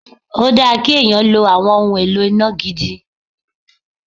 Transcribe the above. Ó dáa kí èèyàn lo àwọn ohun èlò iná gidi